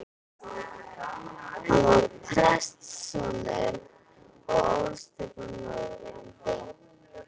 Hann var prestssonur og ólst upp á Norðurlandi.